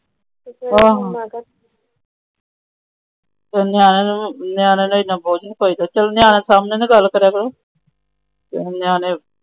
ਬੋਝ ਨਹੀਂ ਪਾਇਦਾ